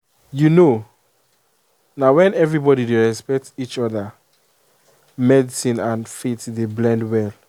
you know na when everybody dey respect each other medicine and faith dey blend well.